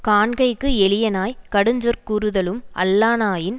காண்கைக்கு எளியனாய்க் கடுஞ்சொற்கூறுதலும் அல்லனாயின்